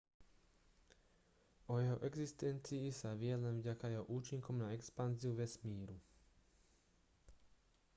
o jeho existencii sa vie len vďaka jeho účinkom na expanziu vesmíru